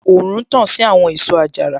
Òòrùn tàn sí àwọn èso àjàrà